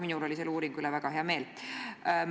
Minul oli selle uuringu tulemuste üle väga hea meel.